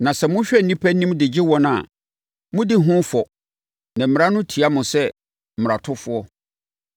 Na sɛ mohwɛ nnipa anim de gye wɔn a, modi ho fɔ na Mmara no tia mo sɛ mmaratofoɔ.